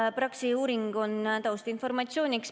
Jah, Praxise uuring on taustinformatsiooniks.